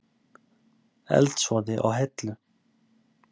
Eldsvoði á Hellu